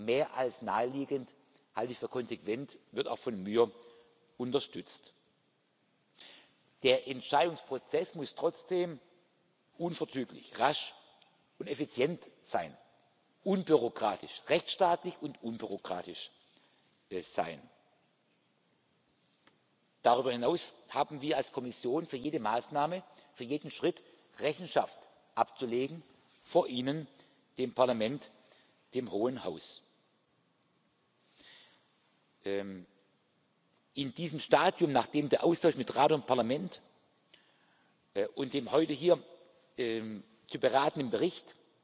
will, halte ich für mehr als naheliegend, halte ich für konsequent, und das wird auch von mir unterstützt. Der Entscheidungsprozess muss trotzdem unverzüglich, rasch und effizient, rechtsstaatlich und unbürokratisch sein. Darüber hinaus haben wir als Kommission für jede Maßnahme, für jeden Schritt Rechenschaft abzulegen vor Ihnen, dem Parlament, dem Hohen Haus. In diesem Stadium, nachdem der Austausch mit Rat und Parlament bei dem heute hier